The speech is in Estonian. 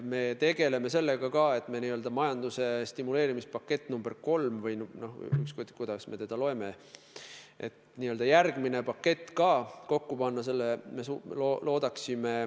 Me tegeleme ka sellega, et n-ö majanduse stimuleerimise pakett nr 3 – või ükskõik, kuidas me teda nimetame – kokku panna.